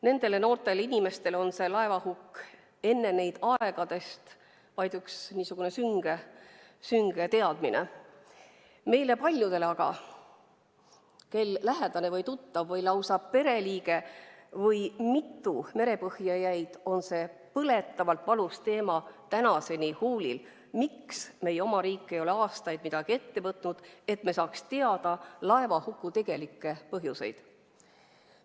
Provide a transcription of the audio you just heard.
Nendele noortele inimestele on see laevahukk enne neid olnud aegadest vaid üks sünge teadmine, aga paljudel meist, kelle lähedane, tuttav, pereliige või lausa mitu pereliiget merepõhja jäid, on see põletavalt valus teema tänaseni huulil: miks meie oma riik ei ole aastaid midagi ette võtnud, et me saaks teada laevahuku tegelikud põhjused?